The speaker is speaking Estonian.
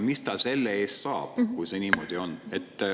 Mis ta selle eest saab, kui see niimoodi on?